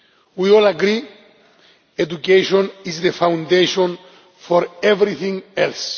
We all agree education is the foundation for everything else.